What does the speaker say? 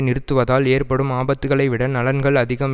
நிறுத்துவதால் ஏற்படும் ஆபத்துக்களைவிட நலன்கள் அதிகம்